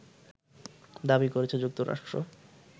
দাবি করেছে যুক্তরাষ্ট্র